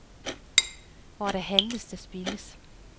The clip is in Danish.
Hvor der handles, der spildes.